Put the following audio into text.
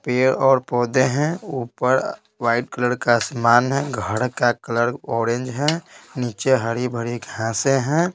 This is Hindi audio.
पेड़ और पौधे हैं ऊपर वाइट कलर का सामान है घर का कलर ऑरेंज है नीचे हरी-भरी घांसे हैं।